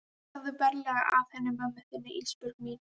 Farðu varlega að henni mömmu þinni Ísbjörg mín.